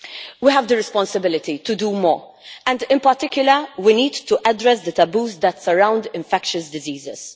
We have the responsibility to do more and, in particular, we need to address the taboos that surround infectious diseases.